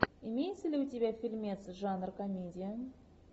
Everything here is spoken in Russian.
имеется ли у тебя фильмец жанр комедия